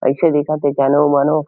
अइसे देखा थे जानो मानो--